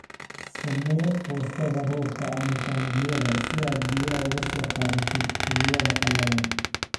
Samee foostada roobka/taangiyada si aad biyaha uga soo qaadatid xilliyada qalalan.